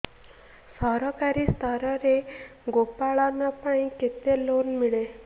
ସରକାରୀ ସ୍ତରରେ ଗୋ ପାଳନ ପାଇଁ କେତେ ଲୋନ୍ ମିଳେ